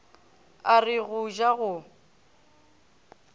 a re go ja go